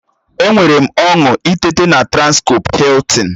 Enwere m ọñụ ịteta na transcọp Hiltịn